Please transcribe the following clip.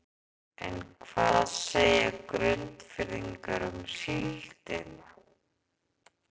En hvað segja Grundfirðingar um síldina?